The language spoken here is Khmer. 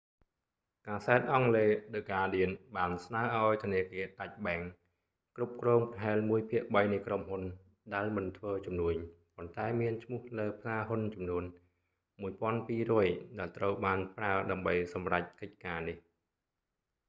កាសែតអង់គ្លេស ឌឹ ហ្កាដៀន the guardian បានស្នើឱ្យធនាគារដាច់បែង deutsche bank គ្រប់គ្រងប្រហែលមួយភាគបីនៃក្រុមហ៊ុនដែលមិនធ្វើជំនួញប៉ុន្តែមានឈ្មោះលើផ្សារហ៊ុនចំនួន 1200 ដែលត្រូវបានប្រើដើម្បីសម្រេចកិច្ចការនេះ